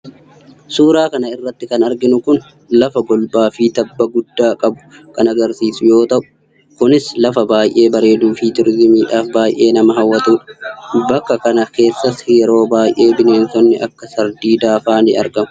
Suuraa kana irratti kan arginu Kun lafa golbaafi tabba guddaa qabu kan agarsiisu yoo ta'u ,Kunis lafa baay'ee bareeduufi turizimiidhaaf baay'ee nama hawwatudha. Bakka kana keessas yeroo baay'ee bineenaonni Akka sardiidaafaa ni argamu.